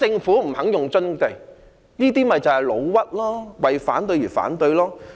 他們便是"老屈"，為反對而反對。